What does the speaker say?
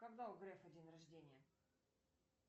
когда у грефа день рождения